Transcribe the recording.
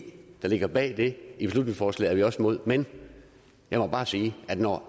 der ligger bag det i beslutningsforslaget er vi også imod men jeg må bare sige at når